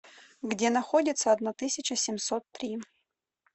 где находится одна тысяча семьсот три